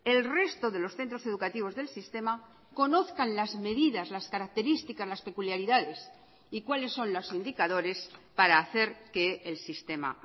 el resto de los centros educativos del sistema conozcan las medidas las características las peculiaridades y cuáles son los indicadores para hacer que el sistema